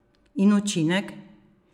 In učinek?